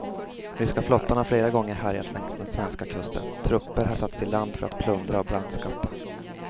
Ryska flottan har flera gånger härjat längs den svenska kusten, trupper har satts i land för att plundra och brandskatta.